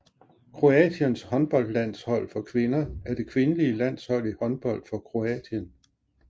Kroatiens håndboldlandshold for kvinder er det kvindelige landshold i håndbold for Kroatien